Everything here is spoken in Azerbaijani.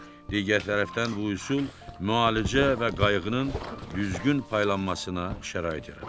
Digər tərəfdən bu üsul müalicə və qayğının düzgün paylanmasına şərait yaradıb.